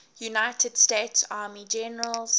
united states army generals